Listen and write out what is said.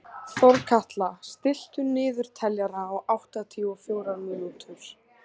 Þorkatla, stilltu niðurteljara á áttatíu og fjórar mínútur.